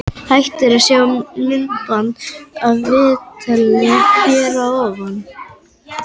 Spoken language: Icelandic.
Hægt er að sjá myndband af viðtalinu hér að ofan.